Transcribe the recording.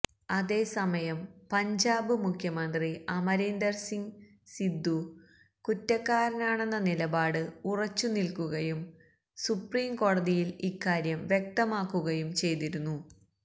അതേസമയം പഞ്ചാബ് മുഖ്യമന്ത്രി അമരീന്ദര് സിങ് സിദ്ദു കുറ്റക്കാരനാണെന്ന നിലപാടില് ഉറച്ചു നില്ക്കുകയും സുപ്രീംകോടതിയില് ഇക്കാര്യം വ്യക്തമാക്കുകയും ചെയ്തിരുന്നു